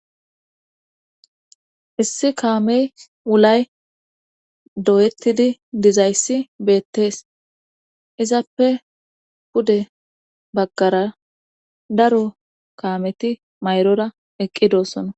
issi kaamey wulay doyettidi dizayssi beettees izappe pude baggara daro kaameti mayrora eqqidossona